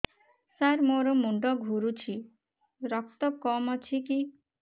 ସାର ମୋର ମୁଣ୍ଡ ଘୁରୁଛି ରକ୍ତ କମ ଅଛି କି